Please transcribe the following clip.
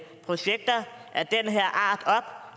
projekter af den her